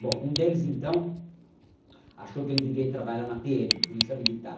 Bom, um deles, então, achou que ele devia ir trabalhar na pê eme, Polícia Militar.